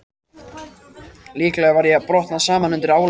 Líklega var ég að brotna saman undan álaginu.